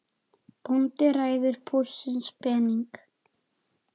Bóndi ræður búsins pening.